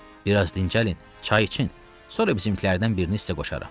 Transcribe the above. Bir az dincəlin, çay için, sonra bizimkilərdən birini sizə qoşaram.